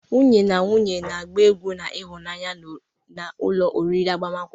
Nwunye na nwunye na-agba egwu na ịhụnanya n'ụlọ oriri agbamakwụkwọ.